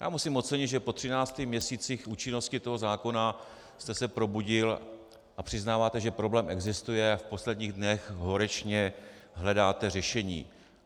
Já musím ocenit, že po třinácti měsících účinnosti toho zákona jste se probudil a přiznáváte, že problém existuje, a v posledních dnech horečně hledáte řešení.